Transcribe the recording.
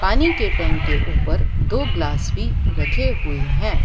पानी के टैंक के ऊपर दो ग्लास भी रखे हुए हैं।